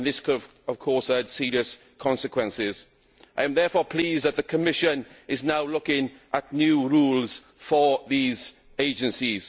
This could, of course, have had serious consequences. I am therefore pleased that the Commission is now looking at new rules for these agencies.